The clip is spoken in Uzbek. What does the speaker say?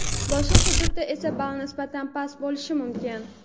boshqa hududda esa ball nisbatan past bo‘lishi mumkin.